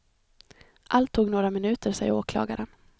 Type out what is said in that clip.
Allt tog några minuter, säger åklagaren.